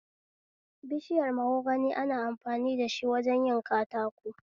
Bishiyar mahogani ana amfani dashi wajen yin katako